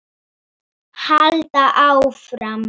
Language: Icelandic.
Halda áfram.